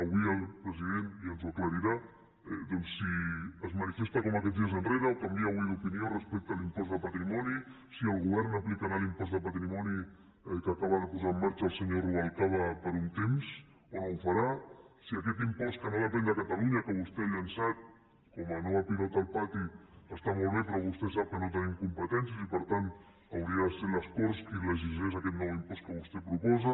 avui el president ja ens ho aclarirà doncs si es manifesta com aquests dies enrere o canvia avui d’opinió respecte a l’impost de patrimoni si el govern aplicarà l’impost de patrimoni que acaba de posar en marxa el senyor rubalcaba per un temps o no ho farà si aquest impost que no depèn de catalunya que vostè ha llançat com a nova pilota al pati està molt bé però vostè sap que no tenim competències i per tant hauria de ser les corts qui legislés aquest nou impost que vostè proposa